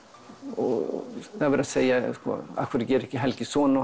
og segja af hverju gerir Helgi ekki svona